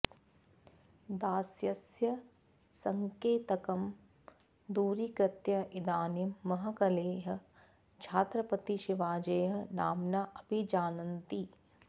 दास्यस्य सङ्केतं दूरीकृत्य इदानीं महकलेः छात्रपतिशेवाजेः नाम्ना अभिजानन्ति